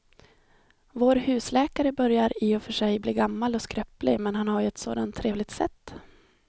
Vår husläkare börjar i och för sig bli gammal och skröplig, men han har ju ett sådant trevligt sätt!